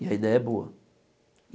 E a ideia é boa.